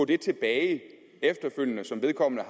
det tilbage efterfølgende som vedkommende